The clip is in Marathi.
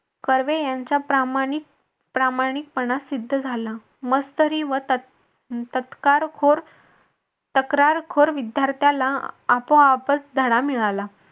कर्वे यांचा प्रामाणिक प्रामाणिकपणा सिद्ध झाला मत्सरी व तत्कारखोर तक्रारखोर विद्यार्थ्याला आपोआपच धडा मिळाला.